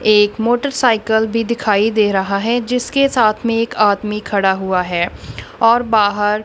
एक मोटरसाइकिल भी दिखाई दे रहा है जिसके साथ में एक आदमी खड़ा हुआ है और बाहर--